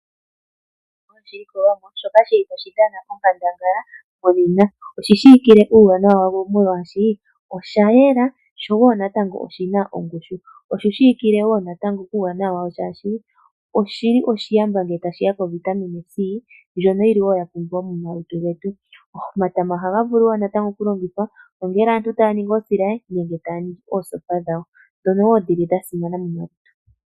Tashi dhana onkandangala muuyuni. Oshi shiwikile Uuwanawa oshoka oshayena aho woo natango oshina ongushu. Oshi shiwikile woo natango kuuwanawa washo ngaashi oshili oshiyamba ngele tashiya povitamine C ndjono yili ya pumbiwa momalutu. Omatama ohaga vulu woo natango okulongithwa ngele aantu taya ningi oosilaye nenge taya ningi oosopa dhawo ndhono dhili woo sha simana momalutu.